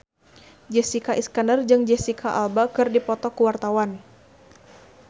Jessica Iskandar jeung Jesicca Alba keur dipoto ku wartawan